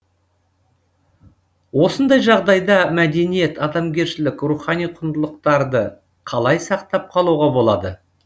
осындай жағдайда мәдениет адамгершілік рухани құндылықтарды қалай сақтап қалуға болады